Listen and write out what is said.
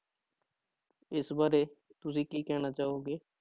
ਇਸ ਬਾਰੇ ਤੁਸੀਂ ਕੀ ਕਹਿਣਾ ਚਾਹੋਗੇ।